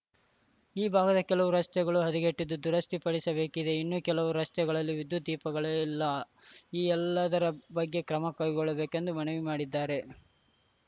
ಈ ಭಾಗದ ಕೆಲವು ರಸ್ತೆಗಳು ಹದಗೆಟ್ಟಿದ್ದು ದುರಸ್ತಿ ಪಡಿಡಸಬೇಕಿದೆ ಇನ್ನೂ ಕೆಲವು ರಸ್ತೆಗಳಲ್ಲಿ ವಿದ್ಯುತ್‌ ದೀಪಗಳೇ ಇಲ್ಲ ಈ ಎಲ್ಲದರ ಬಗ್ಗೆ ಕ್ರಮಕೈಗೊಳ್ಳಬೇಕೆಂದು ಮನವಿ ಮಾಡಿದ್ದಾರೆ